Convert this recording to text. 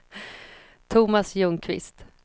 Tomas Ljungqvist